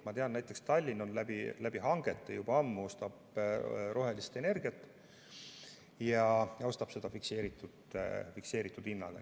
Ma tean, et näiteks Tallinn ostab juba ammu hangetega rohelist energiat ja ostab seda fikseeritud hinnaga.